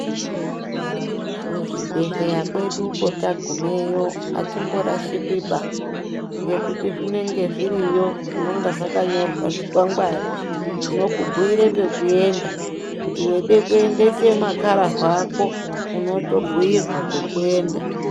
Kuzvibhedhleya kweduko tagumeyo hatimborashikwiba, ngekuti zvinenge zviriyo zvinonga zvakanyorwa zvikwangwari. Zvinokubhuyire pekuenda, kuti weide kuendese makararwa ako, unotobhuyirwa kokuenda.